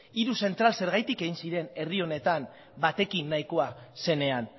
hiru zentral zergatik egin ziren batekin nahikoa zenean